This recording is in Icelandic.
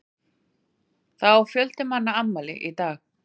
Það á fjöldi manna afmæli í dag.